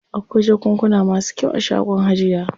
Akwai jakunkuna masu kyau a shagon hajiya.